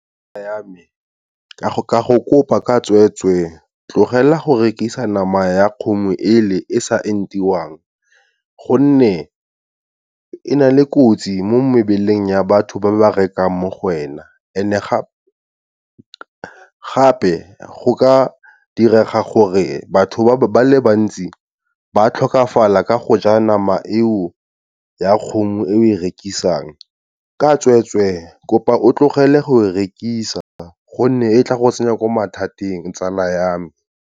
Tsala ya me, ke ya go kopa ka tsweetswe, tlogela go rekisa nama ya kgomo e le e sa entiwang, gonne e na le kotsi mo mebeleng ya batho ba ba rekang mo go wena and-e gape go ka direga gore batho ba le bantsi ba tlhokafala ka go ja nama eo ya kgomo e o e rekisang. Ka tsweetswe kopa o tlogele go rekisa, gonne e tla go tsenya ko mathateng tsala ya me.